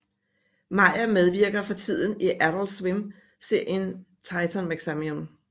Meyer medvirker fortiden i Adult Swim serien Titan Maximum